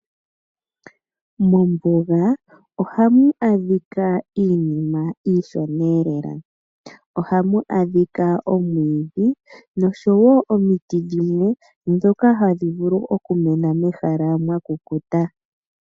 Mombuga ohamu adhika iinima iishona lela. Ohamu adhika omwiidhi noshowo omiti dhimwe ndhoka hadhi vulu okumena mehala mwa kukuta.